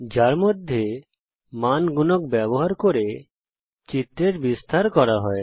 যার মধ্যে মান গুণক ব্যবহার করে চিত্রের বিস্তার করা হয়